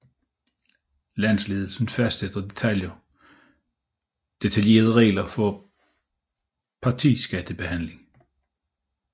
Landsledelsen fastsætter detaljerede regler for partiskattebetalingen